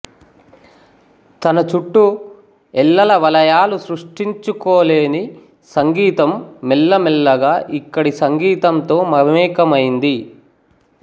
తన చుట్టూ ఎల్లల వలయాలు సృష్టించుకోలేని సంగీతం మెల్లమెల్లగా ఇక్కడి సంగీతంతో మమేకమైంది